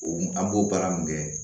O an b'o baara mun kɛ